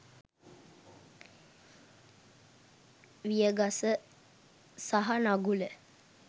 විය ගස සහ නගුල